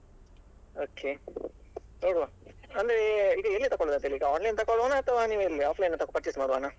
Okay ನೋಡುವ ಅಂದ್ರೆ ಈಗ ಎಲ್ಲಿ ತಕೊಳ್ಳುದು ಅಂತೇಳಿ online ತಕ್ಕೊಳುವನಾ ಅಥವಾ offline ತಕೊಳ್ಳುವ purchase ಮಾಡುವನ.